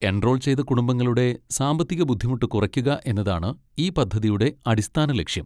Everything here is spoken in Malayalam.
എൻറോൾ ചെയ്ത കുടുംബങ്ങളുടെ സാമ്പത്തിക ബുദ്ധിമുട്ട് കുറയ്ക്കുക എന്നതാണ് ഈ പദ്ധതിയുടെ അടിസ്ഥാന ലക്ഷ്യം.